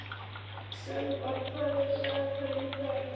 Sölvar, hvað er í dagatalinu í dag?